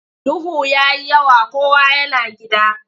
Duhu ya yi yawa kowa yana gida.